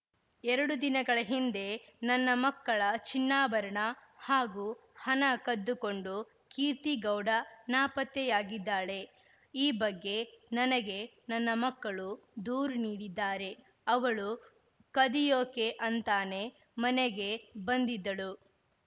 ಎರಡು ದಿನಗಳ ಹಿಂದೆ ನನ್ನ ಮಕ್ಕಳ ಚಿನ್ನಾಭರಣ ಹಾಗೂ ಹಣ ಕದ್ದುಕೊಂಡು ಕೀರ್ತಿಗೌಡ ನಾಪತ್ತೆಯಾಗಿದ್ದಾಳೆ ಈ ಬಗ್ಗೆ ನನಗೆ ನನ್ನ ಮಕ್ಕಳು ದೂರು ನೀಡಿದ್ದಾರೆ ಅವಳು ಕದಿಯೋಕೆ ಅಂತಾನೇ ಮನೆಗೆ ಬಂದಿದ್ದಳು